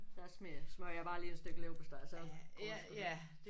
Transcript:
Der smider smørrer jeg bare lige et stykke leverpostej så går det sgu nok